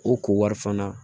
O ko wari fana